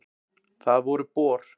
Það voru Bor.